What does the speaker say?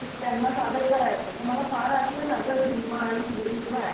त्यांना सादर करायचं त मला फार आठवे ना ग झिम्मा आणि फुगडी शिवाय.